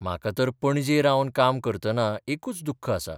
म्हाका तर पणजे रावन काम करतना एकूच दुख्ख आसा.